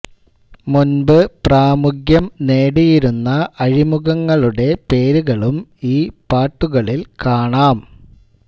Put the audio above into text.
മുൻപ് പ്രാമുഖ്യം നേടിയിരുന്ന അഴിമുഖങ്ങളുടെ പേരുകളും ഈ പാട്ടുകളിൽ കാണാം